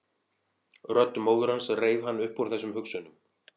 Rödd móður hans reif hann upp úr þessum hugsunum.